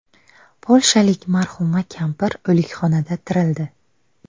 Polshalik marhuma kampir o‘likxonada tirildi.